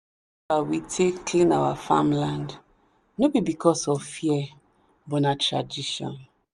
we take clean our farmland no be because of fear but na tradition.